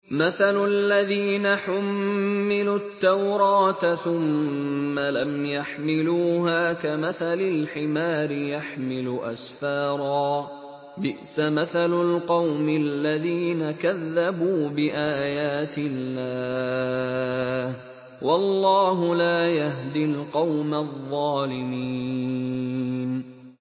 مَثَلُ الَّذِينَ حُمِّلُوا التَّوْرَاةَ ثُمَّ لَمْ يَحْمِلُوهَا كَمَثَلِ الْحِمَارِ يَحْمِلُ أَسْفَارًا ۚ بِئْسَ مَثَلُ الْقَوْمِ الَّذِينَ كَذَّبُوا بِآيَاتِ اللَّهِ ۚ وَاللَّهُ لَا يَهْدِي الْقَوْمَ الظَّالِمِينَ